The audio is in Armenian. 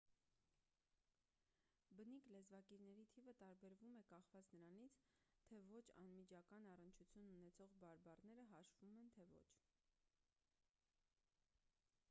բնիկ լեզվակիրների թիվը տարբերվում է կախված նրանից թե ոչ անմիջական առնչություն ունեցող բարբառները հաշվում են թե ոչ